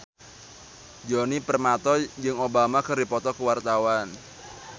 Djoni Permato jeung Obama keur dipoto ku wartawan